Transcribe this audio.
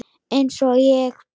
Eins og ég.